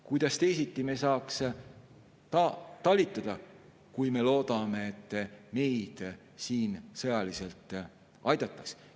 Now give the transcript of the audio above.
Kuidas me saaks teisiti talitada, kui me loodame, et meid siin sõjaliselt aidatakse?